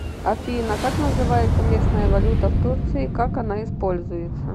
афина как называется местная валюта в турции как она используется